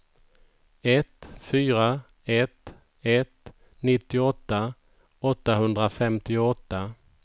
ett fyra ett ett nittioåtta åttahundrafemtioåtta